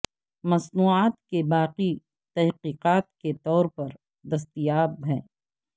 مصنوعات کے باقی تحقیقات کے طور پر دستیاب ہیں